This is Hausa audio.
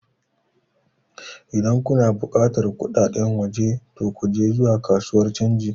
Idan kuna buƙatar kudaden waje to ku je zuwa kasuwar canji